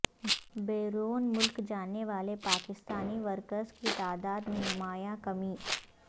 بیرون ملک جانے والے پاکستانی ورکرز کی تعداد میں نمایاں کمی